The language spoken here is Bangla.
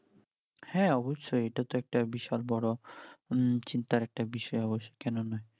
হ্যাঁ অবশ্যই এটা তো একটা বিশাল বড় হম চিন্তার একটা বিষয়ই অবশ্যই কেননা